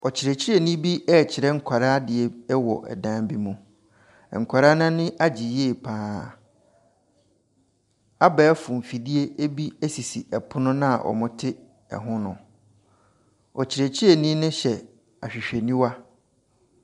Ɔkyerɛkyerɛni bi rekyerɛ nkwadaa adeɛ wɔ dan bi mu. Nkwadaa no ani agye yie pa ara. Abɛɛfo mfidie bi sisi pono no a wɔte ho no. Ɔkyerɛkyerɛni no hyɛ ahwehwɛniwa.